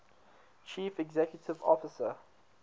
chief executive officer